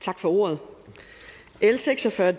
tak for ordet l seks og fyrre